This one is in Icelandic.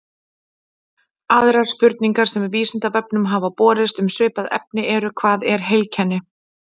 Aðrar spurningar sem Vísindavefnum hafa borist um svipað efni eru: Hvað er heilkenni?